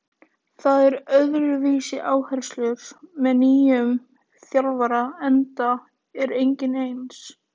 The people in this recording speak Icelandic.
Það eru öðruvísi áherslur með nýjum þjálfara enda er enginn eins.